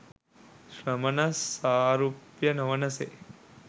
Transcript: ශ්‍රමණ සාරුප්‍ය නොවන සේ